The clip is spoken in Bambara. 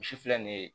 Misi filɛ nin ye